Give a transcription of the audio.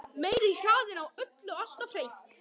Meiri hraðinn á öllu alltaf hreint.